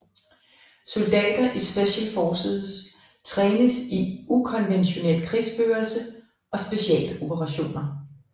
Soldater i Special Forces trænes i ukonventionel krigsførelse og specialoperationer